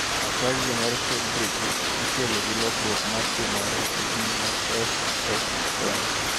Ataxia mar Friedreich ikelo gi lokruok ma timore e jin mar FXN.